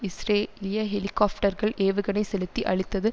இஸ்ரேலிய ஹெலிகாப்டர்கள் ஏவுகணை செலுத்தி அழித்தது